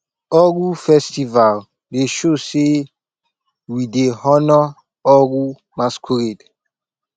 oro festival dey show sey we dey honour oro masqurade